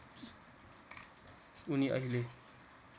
उनी अहिले